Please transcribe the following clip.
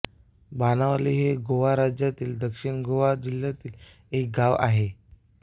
बाणावली हे गोवा राज्यातील दक्षिण गोवा जिल्ह्यातील एक गाव आहे